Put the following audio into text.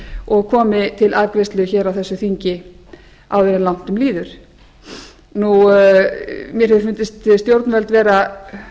og komi til afgreiðslu hér á þessu þingi áður en langt um líður mér hefur fundist stjórnvöld vera